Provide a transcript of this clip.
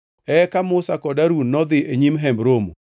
Eka Musa kod Harun nodhi e nyim Hemb Romo,